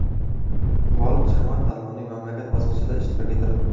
G‘olib jamoa tanlovning mamlakat bosqichida ishtirok etadi.